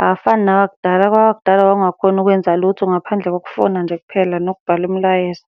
Awafani nawakudala, kwawakudala wawungakhoni ukwenza lutho ngaphandle kokufona nje kuphela nokubhala umlayezo.